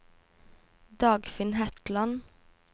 Dagfinn Hetland